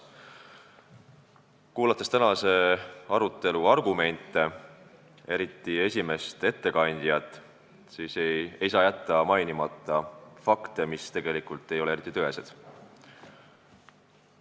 Olles kuulanud tänase arutelu argumente, eriti esimest ettekandjat, ei saa jätta mainimata, et oli fakte, mis ei ole eriti tõesed.